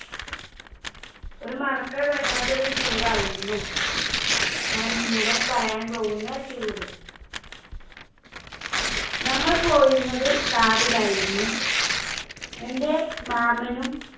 ഒരു മറക്കാൻ പറ്റാത്ത ഒരു Tour യിരുന്നു, ഞാൻ ഇന്നിവിടെ പറയാൻ പോകുന്ന Tour ഞങ്ങൾ പോയിരുന്നത് Car ലായിരുന്നു. എന്റെ മാമനും